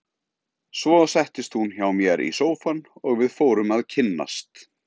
Svo settist hún hjá mér í sófann og við fórum að kynnast.